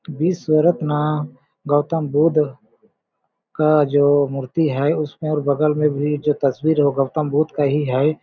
विश्वरत्न गौतम बुद्ध का जो मूर्ति है उसमे और बगल में भी जो तस्वीर है गौतम बुद्ध का ही है।